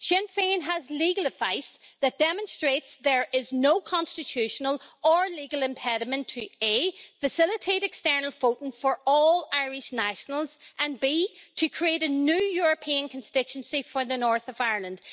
Sinn Féin has legal advice that demonstrates there is no constitutional or legal impediment to facilitate external voting for all Irish nationals and create a new European constituency for the North of Ireland.